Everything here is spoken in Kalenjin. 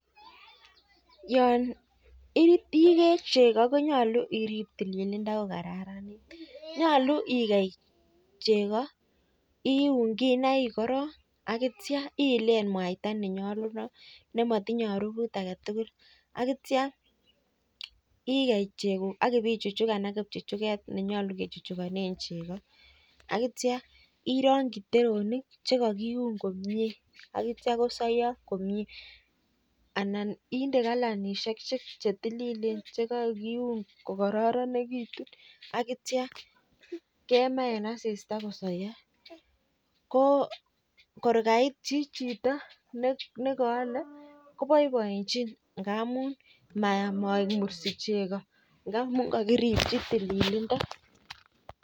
Yon igee cheko konyolu irip tililindo ko kararanit .Nyolu igei chego an iun kinaik korok ak itio iile mwata ne nyolunot ne matinyei arufut agetugul. Agitio igei cheguk akibi chuchukan ak kichuchuket netyolu kechukchukane chego. Agitio irong'chi ndoinik che kakiun komie akitio kosoiyo komie anan inde kalanishek chetililin che kokiun kokororonekitu agitio kemaa eng asista kosoiyo. Ko kor kaitchi chito nekaolei koboiboenchi angamun moek mursi chego ngamun kakiripchi tililindo.